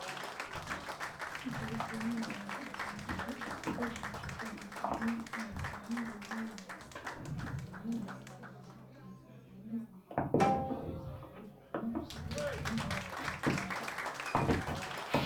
Itophiyu Malaatu Afii Roso ikkite borreessantinori batinye lowo yanna donna, lowo diro keeshshitino dhaggete darguwa Itophiyu Malaatu Afii Roso ikkite.